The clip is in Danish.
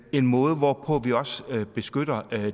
en måde hvorpå vi beskytter